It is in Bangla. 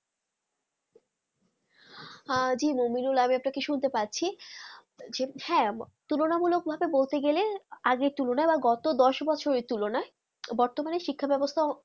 জি আমি আপনাকে শুনতে পাচ্ছি হ্যা তুলনামুলক ভাবে বলে গেলে আগের তুলনায় গত দশ বছর তুলনা বর্তমানে শিক্ষাব্যবস্থা